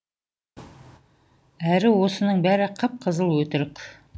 әрі осының бәрі қып қызыл өтірік